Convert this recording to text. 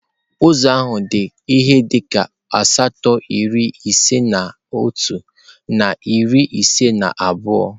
Ụzọ ahụ dị ihe dịka asatọ iri ise na otu na iri ise na abụọ.